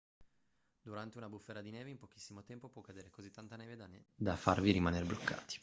durante una bufera di neve in pochissimo tempo può cadere così tanta neve da farvi rimanere bloccati